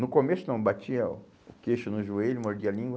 No começo não, batia o queixo no joelho, mordia a língua.